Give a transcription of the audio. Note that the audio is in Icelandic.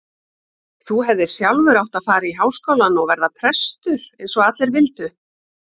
Þú hefðir sjálfur átt að fara í Háskólann og verða prestur eins og allir vildu.